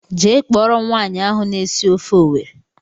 Jee kpọrọ m nwaanyị ahụ na-esi ofe Owerri!!!!